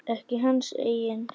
Ekki hans eigin.